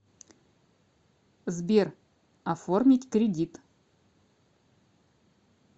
сбер оформить кредит